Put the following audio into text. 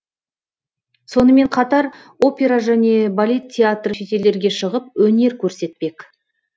сонымен қатар опера және балет театры шетелдерге шығып өнер көрсетпек